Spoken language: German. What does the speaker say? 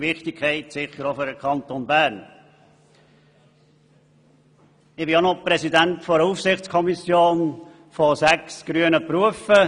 Ich bin auch Präsident der Aufsichtskommission für sechs grüne Berufe.